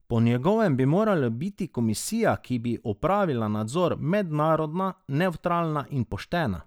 Po njegovem bi morala biti komisija, ki bi opravila nadzor, mednarodna, nevtralna in poštena.